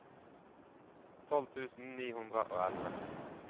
tolv tusen ni hundre og elleve